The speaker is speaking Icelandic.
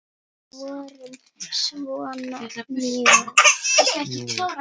Við vorum svona mjóir!